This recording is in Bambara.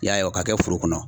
I y'a ye o ka kɛ foro kɔnɔ.